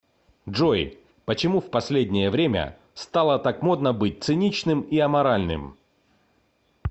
джой почему в последнее время стало так модно быть циничным и аморальным